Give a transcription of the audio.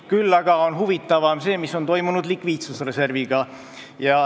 Huvitavam on aga see, mis on toimunud likviidsusreserviga.